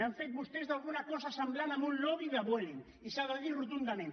han fet vostès d’alguna cosa semblant a un lobby de vueling i s’ha de dir rotundament